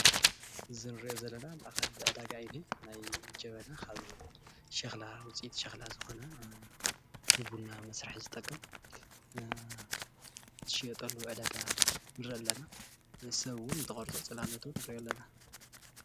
እዚ እንርእዮ ዘለና ማእኸል ዕዳጋ እዩ እኒሆ ናይ ጀበና ካብ ሸክላ ውፅኢት ሸክላ ዝኮነ ንቡና መስርሒ ዝጠቅም ዝሽየጠሉ ዕዳጋ ንርኢ ኣለና። እቲ ሰብ እውን ተቆረፀ ፅላሎቱ ንርእዮ ኣለና።